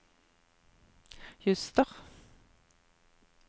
juster